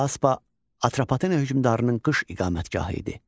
Fraspa Atropatena hökmdarının qış iqamətgahı idi.